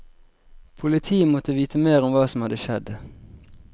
Politiet måtte vite mer om hva som hadde skjedd.